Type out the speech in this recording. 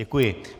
Děkuji.